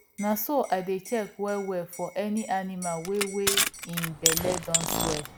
na so i dey check well well for any animal wey wey hin belle don swell